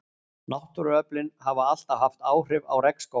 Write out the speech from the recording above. Náttúruöflin hafa alltaf haft áhrif á regnskóga.